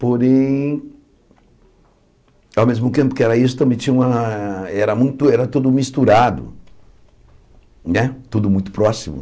Porém, ao mesmo tempo que era isso também tinha uma, era muito era tudo misturado né, tudo muito próximo.